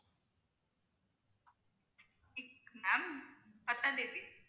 next week ma'am பத்தாம் தேதி